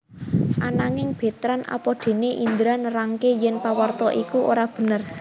Ananging Betrand apadéné Indra nerangaké yèn pawarta iku ora bener